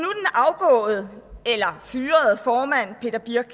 afgåede eller fyrede formand peter birch